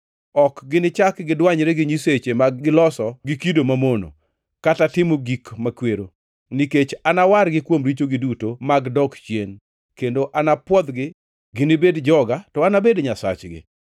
Ok ginichak gidwanyre gi nyisechegi ma giloso gi kido mamono, kata gi timo gik makwero, nikech anawargi kuom richogi duto mag dok chien, kendo anapwodhgi. Ginibed joga, to anabed Nyasachgi.’